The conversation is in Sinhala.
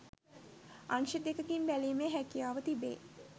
අංශ දෙකකින් බැලීමේ හැකියාව තිබේ.